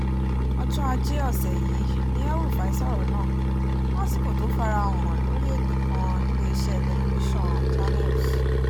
ọjọ́ ajé ọ̀sẹ̀ yìí ni el-rufai sọ̀rọ̀ náà lásìkò tó fara hàn lórí ètò kan níléeṣẹ́ tẹlifíṣàn channels